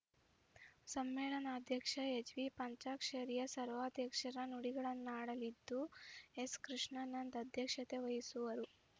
ಸಮ್ಮೇಳನಾಧ್ಯಕ್ಷ ಎಚ್‌ಬಿಪಂಚಾಕ್ಷರಯ್ಯ ಸರ್ವಾಧ್ಯಕ್ಷರ ನುಡಿಗಳನ್ನಾಡಲಿದ್ದು ಎಸ್‌ಕೃಷ್ಣಾನಂದ್‌ ಅಧ್ಯಕ್ಷತೆ ವಹಿಸುವರು